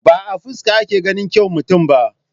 Ba a fuska ake ganin kyau mutum ba.